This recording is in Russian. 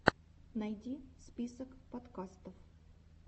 найди список подкастов